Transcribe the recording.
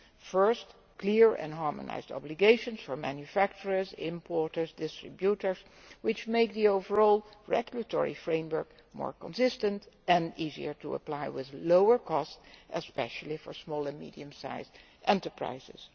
Firstly, clear and harmonised obligations for manufacturers, importers and distributors which make the overall regulatory framework more consistent and easier to apply, with lower costs, especially for small and medium sized enterprises.